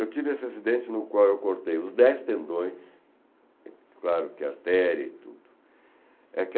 Eu tive esse acidente no qual eu cortei os dez tendões, claro que artéria e tudo. É